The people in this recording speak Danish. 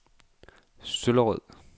Søllerød